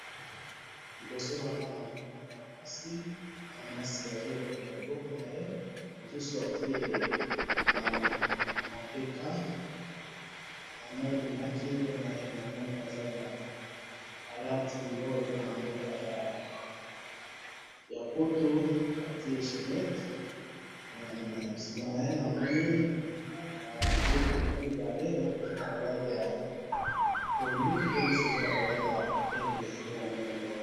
liboso nangai namoni muana mwasi, muana mwasi azui eloko na maboko naye, mususu atie mapeka, namoni na kingo naye, namoni aza na,... alati oyo babengaka namboka ya poto atie chainette nde namonaka ye, na sima naye namoni mituka mibale, moko eza naba langi ya pondu, pe mususu eza naba langi ya pembe